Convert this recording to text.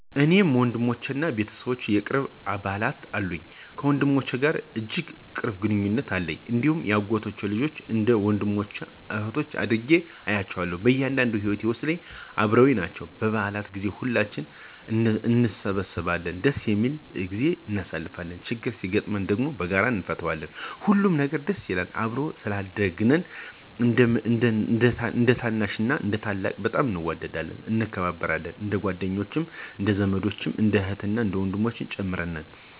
እኔ ወንድሞችና የቤተሰብ ቅርብ አባላት አሉኝ። ከወንድሞቼ ጋር እጅግ ቅርብ ግንኙነት አለኝ፣ እንዲሁም የአጎቶቼ ልጆችን እንደ ወንድሞቼና እኅቶቼ አድርጌ እያቸዋለሁ። በእያንዳንዱ ሂወቴ ውስጥ አበረውኝ ናቸው። በበዓል ጊዜ ሁላችንም እንሰበሰባለን ደስ የሚል ጊዜም እናሳልፋለን። ችግር ሲገጥመን ደም በጋራ እነፈታዋለን፣ ሁሉም ነገር ደስ ይላል። አብረን ስላደግን እንደታናሽና ታላቅ በጣም እንዋደዳለን፣ እንከባበራለን። እንደጓደኛም እንደዘመድም እንደ እህትና ወንድምም ጭምር ነን።